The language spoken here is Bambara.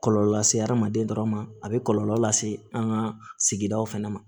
Kɔlɔlɔ lase hadamaden dɔrɔn ma a bɛ kɔlɔlɔ lase an ka sigidaw fɛnɛ ma